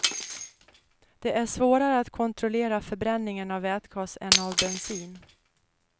Det är svårare att kontrollera förbränningen av vätgas än av bensin.